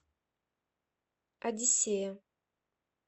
одиссея